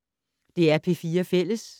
DR P4 Fælles